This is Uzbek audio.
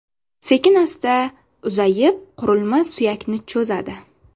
Sekin-asta uzayib, qurilma suyakni cho‘zadi.